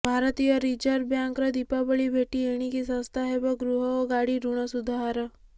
ଭାରତୀୟ ରିଜର୍ଭ ବ୍ୟାଙ୍କର ଦୀପାବଳି ଭେଟି ଏଣିକି ଶସ୍ତା ହେବ ଗୃହ ଓ ଗାଡ଼ି ଋଣସୁଧହାର